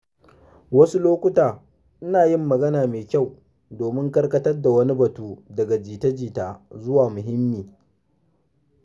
Wasu lokuta ina yin magana mai kyau domin karkatar da wani batu daga jita-jita zuwa wani mahimmi.